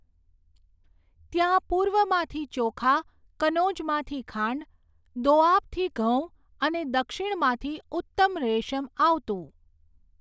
ત્યાં પૂર્વમાંથી ચોખા, કનોજમાંથી ખાંડ, દોઆબથી ઘઉં અને દક્ષિણમાંથી ઉત્તમ રેશમ આવતું.